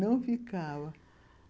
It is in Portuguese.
Não ficava.